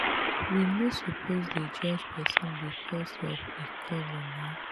we no suppose dey judge pesin becos of em color na.